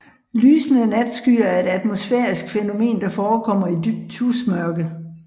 Lysende natskyer er et atmosfærisk fænomen der forekommer i dybt tusmørke